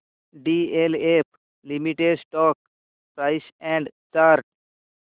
DLF limited stock price and chart